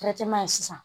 sisan